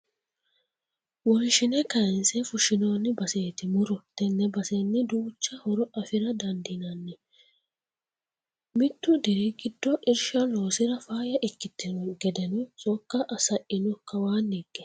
Wonshine kayinse fushinonni baseti muro tene basenni duucha horo afira dandiinanni mitu diri giddo irsha loosira faayya ikkitino gedeno sokka saino kawaani higge.